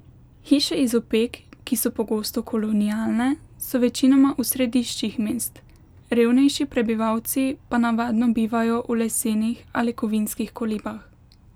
Hiše iz opek, ki so pogosto kolonialne, so večinoma v središčih mest, revnejši prebivalci pa navadno bivajo v lesenih ali kovinskih kolibah.